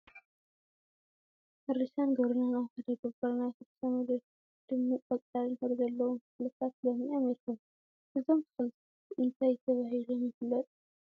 ሕርሻን ግብርናን አብ ሓደ ገበር ናይ ሕርሻ መሬት ደሚቅ ቆፃል ሕብሪ ዘለዎም ተክሊታት ለሚዖም ይርከቡ፡፡ እዞም ተክሊታት እንታይ ተባሂሎም ይፈለጡ?